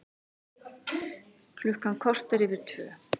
Klukkan korter yfir tvö